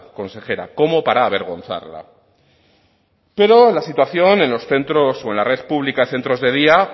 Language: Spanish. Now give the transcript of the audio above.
consejera como para avergonzarla pero la situación en los centros o en la red pública de centros de día